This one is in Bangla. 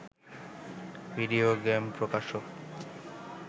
ভিডিও গেম প্রকাশক